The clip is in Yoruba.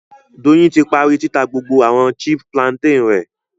Doyin ti parí títà gbogbo àwọn chip plantain rẹ